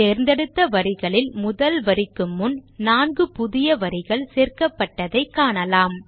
தேர்ந்தெடுத்த வரிகளில் முதல் வரிக்கு முன் 4 புதிய வரிகள் சேர்க்கப்பட்டதை காணலாம்